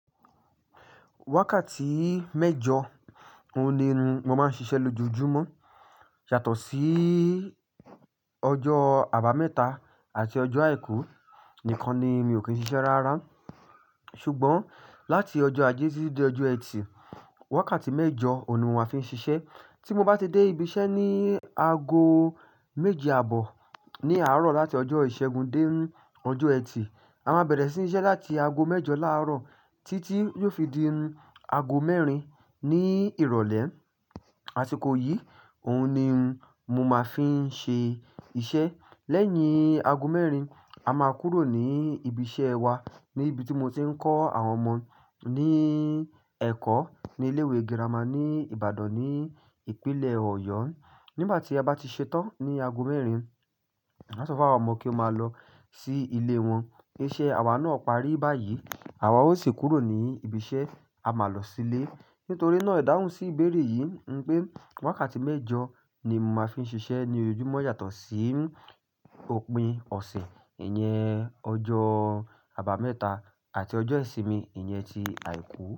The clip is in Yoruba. Wákàtí méjọ òun ni mò máa ń ṣiṣẹ́ lójoojúmọ́. Yàtọ̀ sí ọjọ́ àbámẹ́ta àti ọjọ́ àìkú nìkan ni mi ò kí ń ṣiṣẹ́ rárá. Ṣùgbọ́n láti ọjọ́ ajé títí dé ọjọ́ ẹtì, wákàtí méjọ òun ni màá fi ń ṣiṣẹ́. Tí mo bá ti dé ibi iṣẹ́ ní aago méje àbọ̀ ní àárọ̀ láti ọjọ́ ìṣẹ́gun dé ọjọ́ ẹtì, a máa bẹ̀rẹ̀ sí ní ṣiṣẹ́ láti aago mẹ́jọ láàárọ̀ títí yóò fi di aago mẹ́rin ní ìrọ̀lẹ́. Àsìkò yìí, òun ni mò máa fi ń ṣe iṣẹ́. Lẹ́yìn aago mẹ́rin, a máa kúrò ní ibi iṣẹ́ wa níbi tí mo ti ń kọ́ àwọn ọmọ ní ẹ̀kọ́ ní ilé ìwé girama ní Ìbàdàn ní ìpínlẹ̀ Ọ̀yọ́. Nígbà tí a bá ti ṣetán ní aago mẹ́rin, a sọ fún àwọn ọmọ kí wọ́n máa lọ sí ilé wọn. Iṣẹ́ àwa náà parí báyìí. Àwa ó sì kúrò ní ibi iṣẹ́, a máa lọ sílé. Nítorí náà ìdáhùn sí ìbéèrè yìí ń pé wákàtí méjọ ni mò máa fi ń ṣiṣẹ́ ní ojúmọ́ yàtọ̀ sí òpin ọ̀sẹ̀ ìyẹn ọjọ́ àbámẹ́ta àti ọjọ́ ìsinmi ìyẹn ti àìkú.